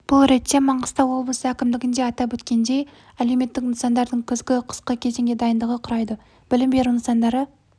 бұл ретте маңғыстау облысы әкімдігінде атап өткендей әлеуметтік нысандардың күзгі-қысқы кезеңге дайындығы құрайды білім беру нысандары